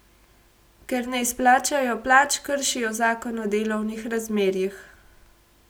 Ker ne izplačajo plač, kršijo zakon o delovnih razmerjih.